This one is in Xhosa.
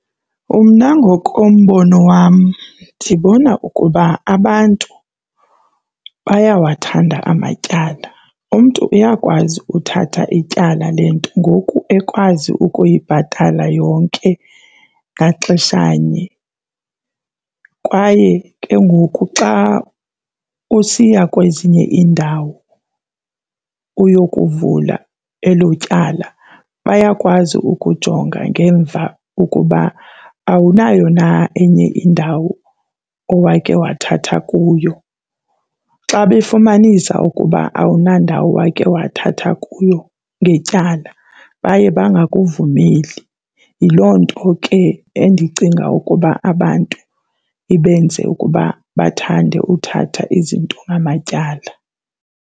Mna ngokombono wam ndibona ukuba abantu bayawathanda amatyala. Umntu uyakwazi uthatha ityala le nto ngoku ekwazi ukuyibhatala yonke ngaxeshanye kwaye ke ngoku xa usiya kwezinye iindawo uyokuvula elo tyala, bayakwazi ukujonga ngemva ukuba awunayo na enye indawo owake wathatha kuyo. Xa befumanisa ukuba awunandawo owake wathatha kuyo ngetyala baye bangakuvumeli. Yiloo nto ke endicinga ukuba abantu ibenze ukuba bathande uthatha izinto ngamatyala.